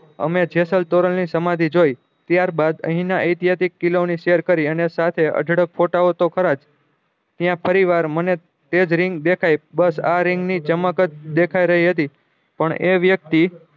અમે જેસલ તોરણ ની સમાધિ જોયી ત્યાર બાદ અહી ના એતિહાસિક કિલો ની સેહેર કરી અને સાથે તો ખરજ ત્યાં ફરી વાર મને તેજ રીંગ દેખાયી બસ આ આ રીંગ ની ચમક જ દેખાય રહી હતી પણ એ વ્યક્તિ